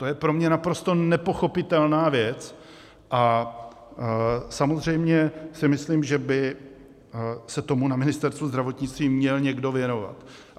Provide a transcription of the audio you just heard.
To je pro mě naprosto nepochopitelná věc a samozřejmě si myslím, že by se tomu na Ministerstvu zdravotnictví měl někdo věnovat.